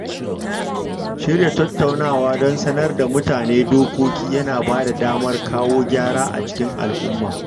Shirya tattaunawa don sanar da mutane dokoki yana ba da damar kawo gyara a cikin al'umma.